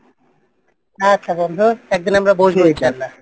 আচ্ছা বন্ধু একদিন আমরা বসবো ইনশাল্লাহ